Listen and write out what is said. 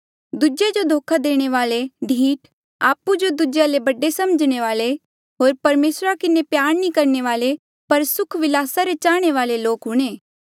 दूजेया जो धोखा देणे वाले ढीठ आपु जो दूजेया ले बडे समझणे वाले होर परमेसरा किन्हें प्यार नी करणे वाले पर सुख विलासा रे चाहणे वाले लोक हूंणे